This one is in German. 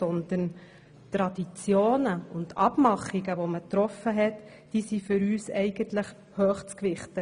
Vielmehr sind für uns die Traditionen und die Abmachungen, die man getroffen hat, hoch zu gewichten;